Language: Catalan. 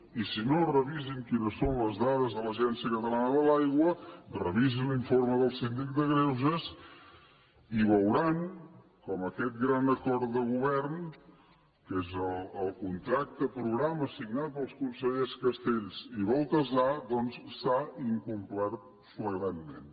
i si no revisin quines són les dades de l’agència catalana de l’aigua revisin l’informe del síndic de greuges i veuran com aquest gran acord de govern que és el contracte programa signat pels consellers castells i baltasar doncs s’ha incomplert flagrantment